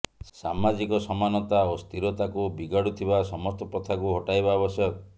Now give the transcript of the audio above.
ସାମାଜିକ ସମାନତା ଓ ସ୍ଥିରତାକୁ ବିଗାଡ଼ୁଥିବା ସମସ୍ତ ପ୍ରଥାକୁ ହଟାଇବା ଆବଶ୍ୟକ